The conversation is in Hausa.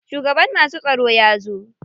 Shugaban masu tsaro ya zo.